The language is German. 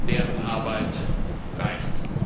Deren Arbeit reicht.